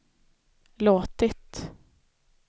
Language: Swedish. låtit